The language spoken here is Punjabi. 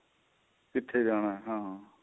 ਕਿਥੇ ਜਾਣਾ ਹਾਂ